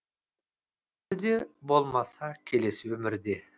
бұл өмірде болмаса келесі өмірде